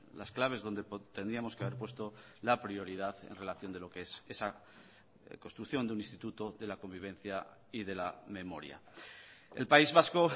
las claves donde tendríamos que haber puesto la prioridad en relación de lo qué es esa construcción de un instituto de la convivencia y de la memoria el país vasco